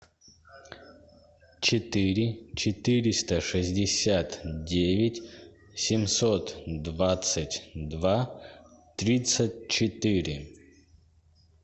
четыре четыреста шестьдесят девять семьсот двадцать два тридцать четыре